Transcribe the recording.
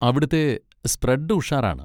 അവിടുത്തെ സ്പ്രെഡ് ഉഷാറാണ്.